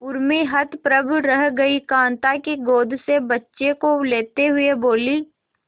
उर्मी हतप्रभ रह गई कांता की गोद से बच्चे को लेते हुए बोली